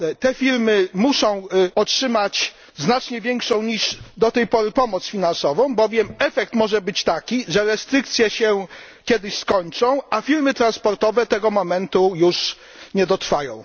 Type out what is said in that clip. Te firmy muszą otrzymać znacznie większą niż do tej pory pomoc finansową, bowiem efekt może być taki, że restrykcje się kiedyś skończą, a firmy transportowe do tego momentu już nie dotrwają.